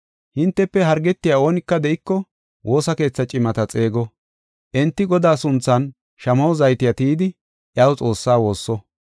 Hintefe hargetiya oonika de7iko woosa keetha cimata xeego. Enti Godaa sunthan shamaho zayte tiyidi iyaw Xoossaa woosso.